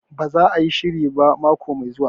Ba za a yi shirin ba mako mai zuwa